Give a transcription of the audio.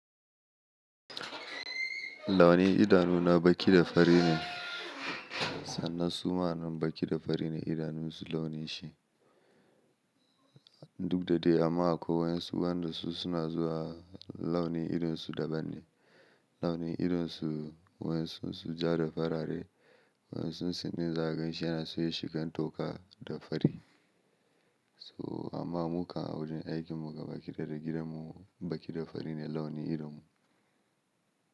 Launi idanuna baƙi da fari ne. Sannan suma anan baƙi da fari ne idanunsu launin shi. Duk da dai amma ko wayansu waɗa su suna zuwa launi idonsu daban ne. Launi idonsu waɗansu su ja da farare, waɗansu su nesa ganshi yana so ya shigan toka da fari. So amma muka a wurin aikin mu gabakidiya da gaɗin mu baƙi da fari ne launi idonmu.